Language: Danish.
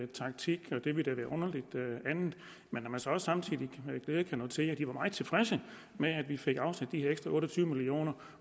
taktik og det ville da være underligt andet men når man så også samtidig med glæde kan notere at de var meget tilfredse med at vi fik afsat de ekstra otte og tyve million